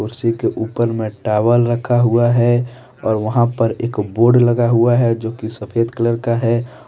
कुर्सी के ऊपर में टॉवल रखा हुआ है और वहां पर एक बोर्ड लगा हुआ है जो की सफेद कलर का है।